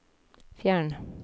fjern